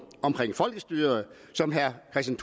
om folkestyret og som herre kristian